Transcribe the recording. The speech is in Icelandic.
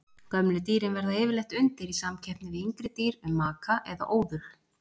Gömlu dýrin verða yfirleitt undir í samkeppni við yngri dýr um maka og óðul.